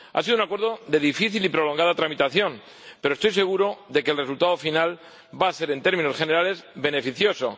Ha sido un acuerdo de difícil y prolongada tramitación, pero estoy seguro de que el resultado final va a ser, en términos generales, beneficioso.